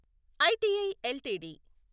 ITI LTD